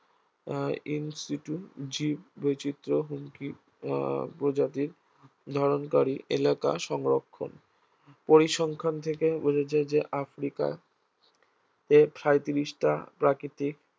আহ in situ জীব বৈচিত্র্য হুমকি আহ প্রজাতির ধারণকারী এলাকা সংরক্ষণ পরিসংখ্যান থেকে বোঝা যায় যে আফ্রিকা এর সাঁইত্রিশটা প্রাকৃতিক